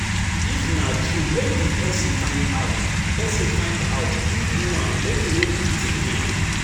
If na true make di persin find out persin find out who do am make e no repeat again